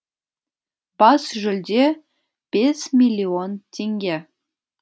бас жүлде бес миллион теңге